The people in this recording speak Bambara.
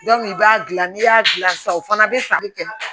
i b'a dilan n'i y'a dilan sisan o fana bɛ sanni kɛ